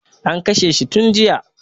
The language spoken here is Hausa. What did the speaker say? An kashe shi tun jiya